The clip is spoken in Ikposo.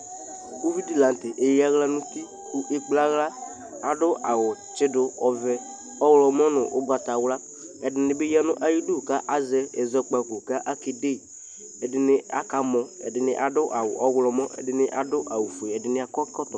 uvidi la nu tɛ eya aɣla nu uti ku ekpla aɣla adu awu tsidu ɔvɛ ɔɣlɔmɔ nu ugbata wla ɛdini bi ya iyidu ku azɛ ɛzɔpkabo ku ake de edini aka mɔ edini ada awu ɔɣlɔmɔ edini adu awu edini adu ɛkɔtɔ